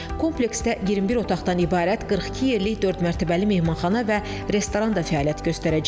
Kompleksdə 21 otaqdan ibarət 42 yerlik dördmərtəbəli mehmanxana və restoran da fəaliyyət göstərəcək.